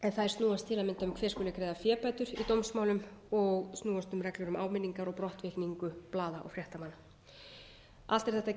um hver skuli greiða fébætur í dómsmálum og snúast um reglur um áminningar og brottvikningu blaða og fréttamanna allt er þetta